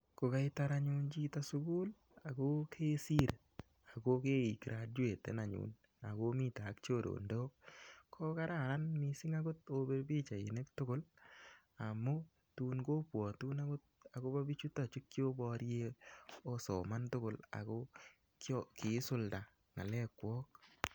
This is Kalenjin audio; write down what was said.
Ko kaitar anyu chito sugul ako kesir ako kei graduaten anyun. Ako mite ak chorondok, ko kararan akot opir pichainik tugul. Amu tun kobwotun akot akobo biichutok chu kioborie osoman tugul ako kiisulda ng'alekwok.